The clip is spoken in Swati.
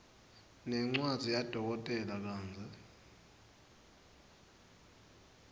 ngencwadzi yadokotela kantsi